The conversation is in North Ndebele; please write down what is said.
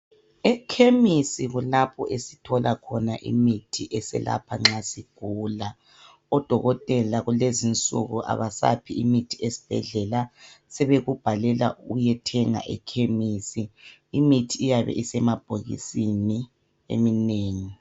Ekhemisi kulapho esithola khona imithi eselapha nxa sigula odokotela kulezi insuku abasaphi imithi ezibhedlela sebekubhalela uyethenga ekhemisi imithi iyabe isemabhokisini eminengi.